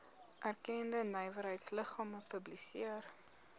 erkende nywerheidsliggame publiseer